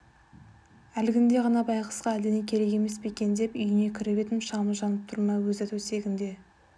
әлгінде ғана байғұсқа әлдене керек емес пе екен деп үйіне кіріп едім шамы жанып тұр өзі төсегінде